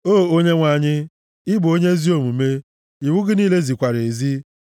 O Onyenwe anyị, ị bụ onye ezi omume, iwu gị niile zikwara ezi.